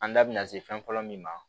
An da bina se fɛn fɔlɔ min ma